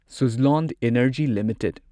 Suzlon energy limited